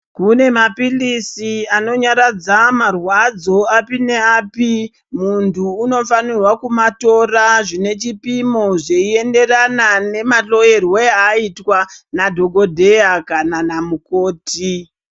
Kune mapilisi ano nyaradza marwadzo api ne api muntu unofanirwa kuma tora zvine chipimo zvei enderana nema hloyerwe ayitwaa na dhokodheya kana na mukoti.